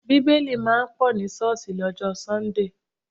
Bíbélì máa ń pọ̀ ní ṣọ́ọ̀sì lọ́jọ́ sọ́ńdè